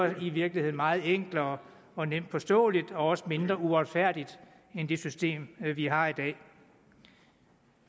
i virkeligheden meget enklere og nemt forståeligt og også mindre uretfærdigt end det system vi har i dag